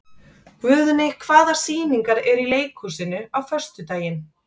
Guðni, hvaða sýningar eru í leikhúsinu á föstudaginn?